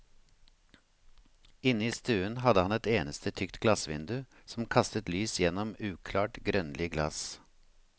Inne i stuen hadde han ett eneste tykt glassvindu, som kastet lys gjennom uklart, grønlig glass.